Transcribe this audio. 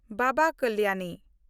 Baba Kalyani